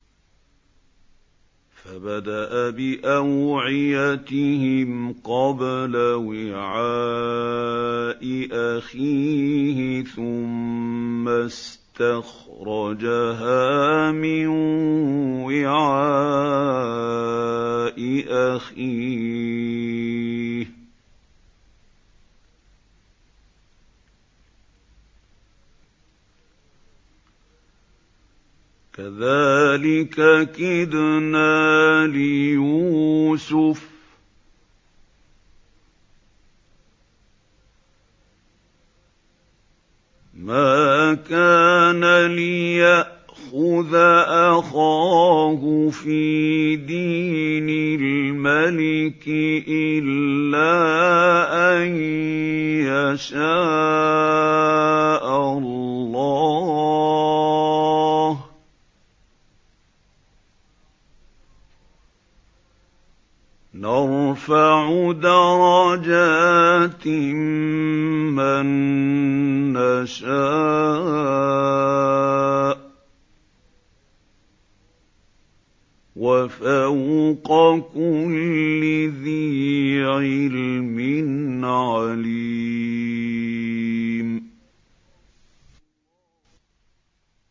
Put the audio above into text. فَبَدَأَ بِأَوْعِيَتِهِمْ قَبْلَ وِعَاءِ أَخِيهِ ثُمَّ اسْتَخْرَجَهَا مِن وِعَاءِ أَخِيهِ ۚ كَذَٰلِكَ كِدْنَا لِيُوسُفَ ۖ مَا كَانَ لِيَأْخُذَ أَخَاهُ فِي دِينِ الْمَلِكِ إِلَّا أَن يَشَاءَ اللَّهُ ۚ نَرْفَعُ دَرَجَاتٍ مَّن نَّشَاءُ ۗ وَفَوْقَ كُلِّ ذِي عِلْمٍ عَلِيمٌ